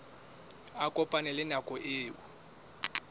a kopane le nako eo